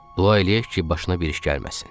Bu eləyək ki, başına bir iş gəlməsin.